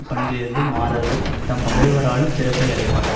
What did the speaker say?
பண்பிலிருந்து மாறாதவர் தம் பகைவராலும் சிறப்பை அடைவார்